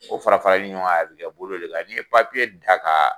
O fara farali ɲɔgɔn kan, a bi kɛ bolo de la, n'i ye da ka